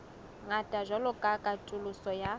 ngata jwalo ka katoloso ya